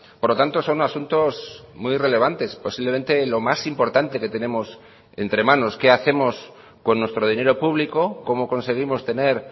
por lo tanto son asuntos muy relevantes posiblemente lo más importante que tenemos entre manos qué hacemos con nuestro dinero público cómo conseguimos tener